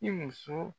I muso